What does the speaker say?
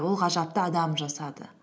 ол ғажапты адам жасады